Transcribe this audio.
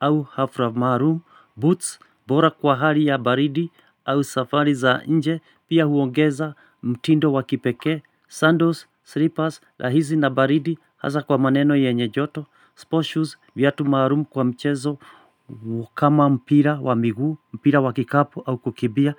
Au hafra maalum. Boots, bora kwa hali ya baridi au safari za nje, pia huongeza mtindo wakipekee, sandals, slippers, rahisi na baridi, hasa kwa maeneo yenye joto. Sport shoes, viatu maalum kwa mchezo kama mpira wa miguu, mpira wa kikapo au kukibia.